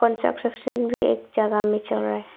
भी एक जगह मे चल रहा है।